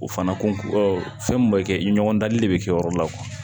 O fana kun fɛn mun be kɛ i ɲɔgɔn dali de bɛ kɛ yɔrɔ la